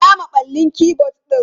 Ina maballin keyboard?